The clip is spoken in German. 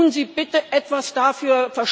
Tun Sie bitte etwas dafür!